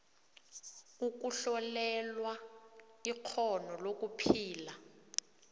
ukuhlolelwa ikghono lokuphila